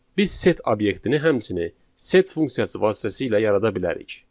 Biz set obyektini həmçinin set funksiyası vasitəsilə yarada bilərik.